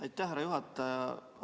Aitäh, härra juhataja!